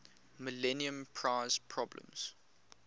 millennium prize problems